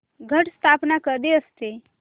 घट स्थापना कधी असते